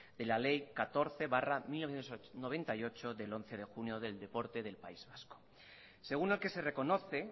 de la ley catorce barra mil novecientos noventa y ocho del once de junio del deporte del país vasco según el que se reconoce